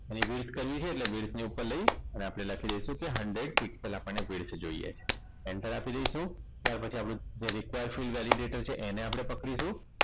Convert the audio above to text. અને width કરીશું અને width ને ઉપર લઈ અને આપણે લખી દઇશું કે hundred people આપણને width જોઈએ છે enter આપી દઈશું ત્યાર પછી આપણે જે require fild validater છે એને આપણે પકડીશું